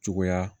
Cogoya